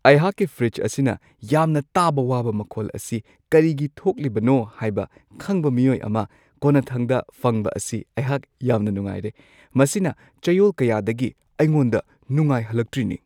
ꯑꯩꯍꯥꯛꯀꯤ ꯐ꯭ꯔꯤꯖ ꯑꯁꯤꯅ ꯌꯥꯝꯅ ꯇꯥꯕ ꯋꯥꯕ ꯃꯈꯣꯜ ꯑꯁꯤ ꯀꯔꯤꯒꯤ ꯊꯣꯛꯂꯤꯕꯅꯣ ꯍꯥꯏꯕ ꯈꯪꯕ ꯃꯤꯑꯣꯏ ꯑꯃ ꯀꯣꯟꯅꯊꯪꯗ ꯐꯪꯕ ꯑꯁꯤ ꯑꯩꯍꯥꯛ ꯌꯥꯝꯅ ꯅꯨꯡꯉꯥꯏꯔꯦ-ꯃꯁꯤꯅ ꯆꯌꯣꯜ ꯀꯌꯥꯗꯒꯤ ꯑꯩꯉꯣꯟꯗ ꯅꯨꯡꯉꯥꯏꯍꯜꯂꯛꯇ꯭ꯔꯤꯅꯤ!